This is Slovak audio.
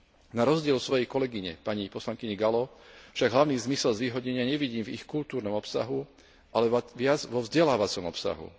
Na rozdiel od svojej kolegyne pani poslankyne Gallovej však hlavný zmysel zvýhodnenia nevidím v ich kultúrnom obsahu, ale viac vo vzdelávacom obsahu.